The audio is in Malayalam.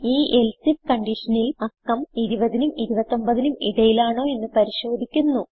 ഈ എൽസെ ഐഎഫ് conditionൽ അക്കം 20നും 29നും ഇടയിലാണോ എന്ന് പരിശോധിക്കുന്നു